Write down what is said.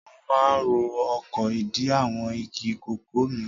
Mo máa ń ro oko ìdí àwọn igi kòkó mi.